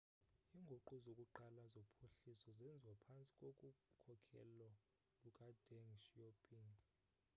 inguqu zokuqala zophuhliso zenziwa phantsi kokukhokhelo lukadeng xiaoping